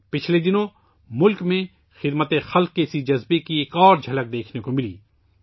حال ہی میں ملک میں سماجی خدمت کے اس جذبے کی ایک اور جھلک دیکھنے کو ملی